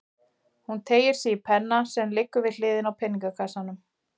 Hún teygir sig í penna sem liggur við hliðina á peningakassanum.